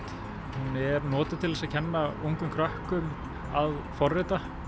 hún er notuð til að kenna ungum krökkum að forrita